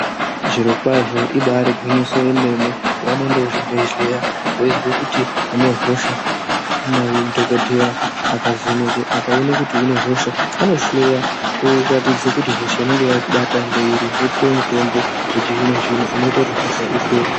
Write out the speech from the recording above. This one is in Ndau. Zviro kwazvo ibari gwinyiso yemene peunoende kuzvibhedhleya weizwe kuti une hosha madhokodheya akavheneke akaone kuti une hosha anohloya oratidze kuti hosha inenge yakubata ndeiri opuwe mutombo wechizvino zvino unoite kuti hosha ipere.